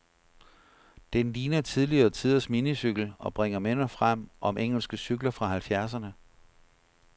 Den ligner tidligere tiders minicykel, og bringer minder frem om engelske cykler fra halvfjerdserne.